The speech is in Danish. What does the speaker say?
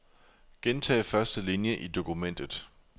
Gentag første linie i dokumentet.